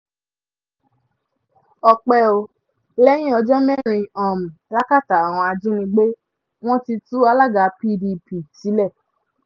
ọ̀pẹ ò lẹ́yìn ọjọ́ mẹ́rin um làkàtà àwọn ajínigbé wọn ti tú alága pdp sílẹ̀ um